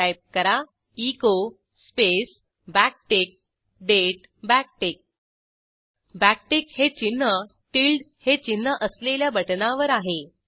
type करा echo space backtick दाते backtick backtick हे चिन्ह टिल्डे हे चिन्ह असलेल्या बटणावर आहे